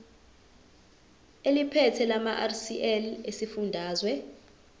eliphethe lamarcl esifundazwe